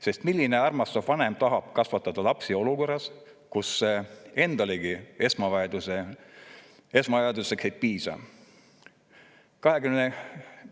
Sest milline armastav vanem tahab kasvatada lapsi olukorras, kus endalegi esmavajadusteks ei piisa?